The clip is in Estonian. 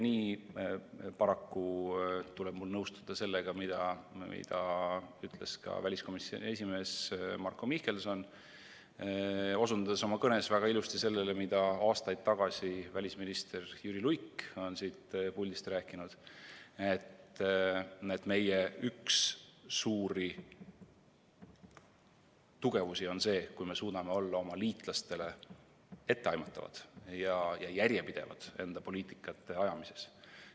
Paraku tuleb mul nõustuda sellega, mida ütles ka väliskomisjoni esimees Marko Mihkelson, osutades oma kõnes väga ilusasti sellele, mida aastaid tagasi välisminister Jüri Luik siit puldist rääkis, et meie üks suuri tugevusi on see, kui me suudame olla oma liitlastele etteaimatavad ja järjepidevad enda poliitika ajamises.